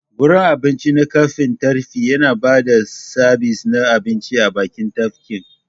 Gurin abincin na gefen tafki yana ba da sabis na abinci a bakin tafkin.